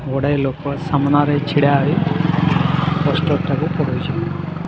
ଗୁଡ଼ାଏ ଲୋକ ସାମ୍ନାରେ ଛିଡାହୋଇ ପୋଷ୍ଟର୍ ଟାକୁ ପୁଢୁଚନ୍ ।